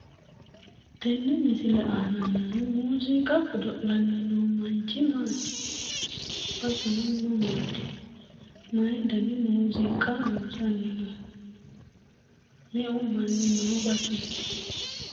tenne misile aana noohu muuziiqa godo'lanni noo manchi,, baseno mamaati? mayi dani muuziiqa loosanni no? meu manni noo baseeti?